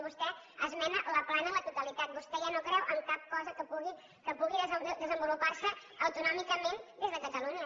vostè esmena la plana a la totalitat vostè ja no creu en cap cosa que pugui desenvolupar se autonòmicament des de catalunya